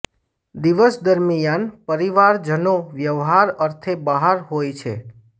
દિવસ દરમિયાન પરિવારજનો વ્યવસાય અર્થે બહાર હોય છે